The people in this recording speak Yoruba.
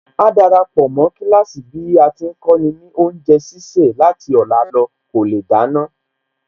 Áá darapọ̀ mó kíláàsì bí a ti ń kọ́ni ní oúnjẹ sísè láti ọ̀la lọ kò lè dáná